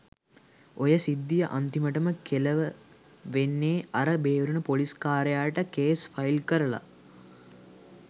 ඔය සිද්ධිය අන්තිමට කෙලව වෙන්නෙ අර බේරුන පොලිස්කාරයාට කේස් ෆයිල් කරලා.